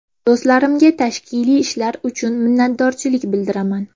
Do‘stlarimga tashkiliy ishlar uchun minnatdorchilik bildiraman.